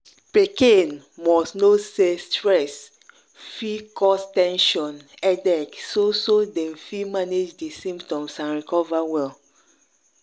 pikin must know say stress fi cause ten sion headache so so dem fit manage di symptoms and recover well.